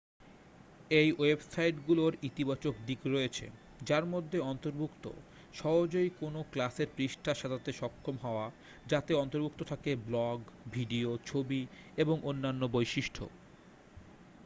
এই ওয়েবসাইটগুলোর ইতিবাচক দিক রয়েছে যার মধ্যে অন্তর্ভুক্ত সহজেই কোনও ক্লাসের পৃষ্ঠা সাজাতে সক্ষম হওয়া যাতে অন্তর্ভুক্ত থাকে ব্লগ ভিডিও ছবি এবং অন্যান্য বৈশিষ্ট্য